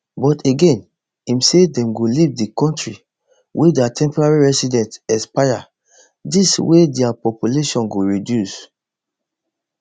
but again im say dem go leave di kontri wen dia temporary residency expire dis way dia population go reduce